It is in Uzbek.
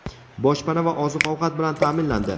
boshpana va oziq-ovqat bilan ta’minlandi.